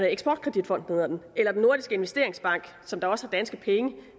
eksport kredit fonden eller den nordiske investeringsbank som også har danske penge